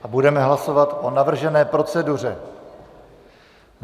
A budeme hlasovat o navržené proceduře.